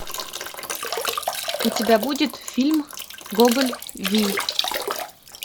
у тебя будет фильм гоголь вий